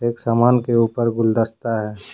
एक समान के ऊपर गुलदस्ता है।